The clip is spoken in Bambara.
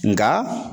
Nga